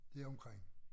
Deromkring